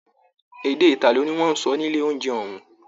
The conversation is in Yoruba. Èdè italo ní wọn n sọ nílé ounjẹ òun.